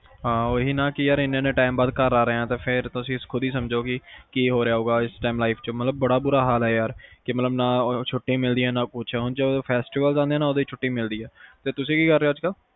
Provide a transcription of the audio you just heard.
ਹਾਂ ਓਹੀ ਨਾ ਕੇ ਏਨੇ ਏਨੇ time ਬਆਦ ਘਰ ਆ ਰਿਹਾ ਤੁਸੀਂ ਖੁਦ ਹੀ ਸਮਜੋ ਕੀ ਹੋ ਰਿਹਾ ਹੋਗਾ, ਇਸ timelife ਚ ਮਤਲਬ ਬੜਾ ਬੁਰਾ ਹਾਲ ਆ ਨਾ ਛੁੱਟੀ ਮਿਲਦੀ ਆ ਨਾ ਕੁਸ ਉਂਝ festival ਆਉਂਦੇ ਆ ਉਦੋਂ ਹੀ ਛੁੱਟੀ ਮਿਲਦੀ ਆ ਤੇ ਤੁਸੀਂ ਕੀ ਕਰ ਰਹੇ ਹੋ ਅੱਜ ਕਲ